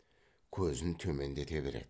көзін төмендете береді